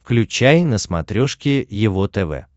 включай на смотрешке его тв